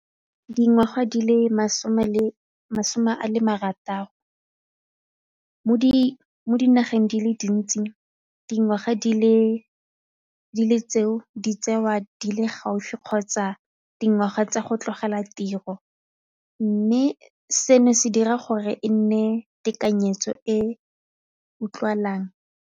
Dingwaga di le masome le masome a marataro mo dinageng di le dintsi dingwaga di tseiwa di le gaufi kgotsa dingwaga tsa go tlogela tiro mme seno se dira gore e nne tekanyetso e utlwalang.